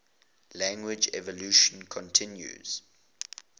language evolution continues